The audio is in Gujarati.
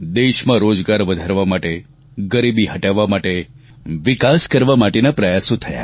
દેશમાં રોજગાર વધારવા માટે ગરીબી હટાવવા માટે વિકાસ કરવા માટેના પ્રયાસો થયા